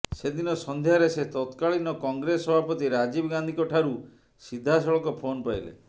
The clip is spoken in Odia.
ସେଦିନ ସନ୍ଧ୍ୟାରେ ସେ ତତ୍କାଳୀନ କଂଗ୍ରେସ ସଭାପତି ରାଜୀବ ଗାନ୍ଧୀଙ୍କ ଠାରୁ ସିଧାସଳଖ ଫୋନ୍ ପାଇଲେ